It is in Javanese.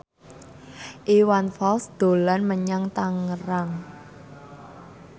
Iwan Fals dolan menyang Tangerang